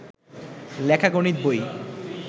লেখা গণিত বই